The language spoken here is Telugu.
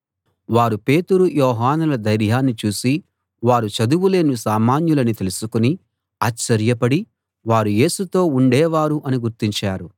వారు పేతురు యోహానుల ధైర్యాన్ని చూసి వారు చదువులేని సామాన్యులని తెలుసుకుని ఆశ్చర్యపడి వారు యేసుతో ఉండేవారు అని గుర్తించారు